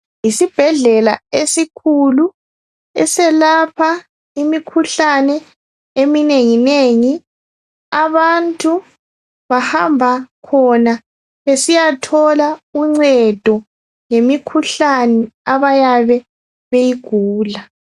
Yisibhedlela esikhulu eselapha imikhuhlane eminengi nengi abantu bahamba khona besiyathola uncedo ngemikhuhlane abayabe beyigula.